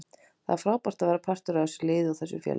Það er frábært að vera partur af þessu liði og þessu félagi.